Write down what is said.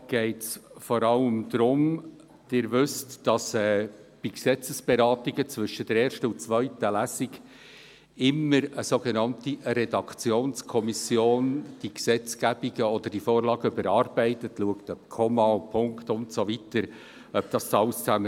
Wie Sie wissen, werden bei Gesetzesberatungen zwischen der ersten und der zweiten Lesung die Vorlagen immer von der sogenannten Redaktionskommission überarbeitet und daraufhin geprüft, ob Kommas, Punkte und so weiter stimmen.